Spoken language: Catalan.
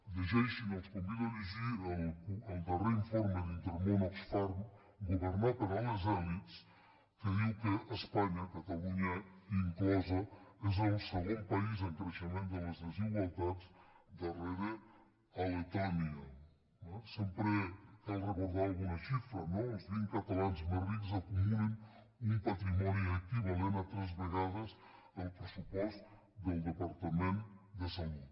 llegeixin els convido a llegir el darrer informe d’in·termón oxfam governar per a les elitsespanya catalunya inclosa és el segon país en crei·xement de les desigualtats darrere de letònia eh sempre cal recordar alguna xifra no els vint cata·lans més rics acumulen un patrimoni equivalent a tres vegades el pressupost del departament de salut